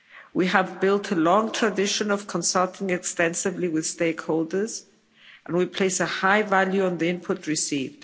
We have built a long tradition of consulting extensively with stakeholders and we place a high value on the input received.